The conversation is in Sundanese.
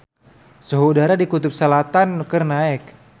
Suhu udara di Kutub Selatan keur naek